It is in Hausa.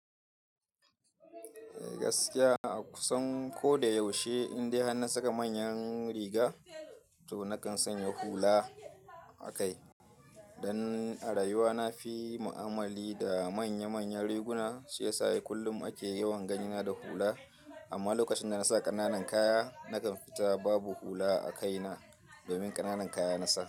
Gaskiya a kusan ko da yaushe indai har na saka manyan riga to nakan sanya hula a kai. Dan ni a rayuwa na fi ma'amali da manya-manyan riguna shiyasa kullum ake yawan ganina da hula. Amma lokacin da nasa ƙana nan kaya nakan fita babu hula a kaina domin ƙananan kaya nasa.